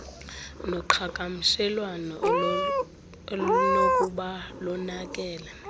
noqhagamshelwano olunokuba lonakele